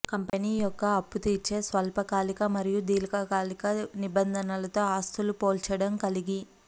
company యొక్క అప్పుతీర్చే స్వల్పకాలిక మరియు దీర్ఘకాలిక నిబద్ధతలతో ఆస్తులు పోల్చడం కలిగి